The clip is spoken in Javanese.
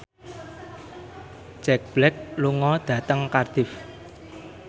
Jack Black lunga dhateng Cardiff